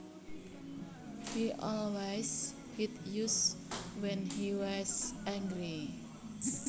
He always hit us when he was angry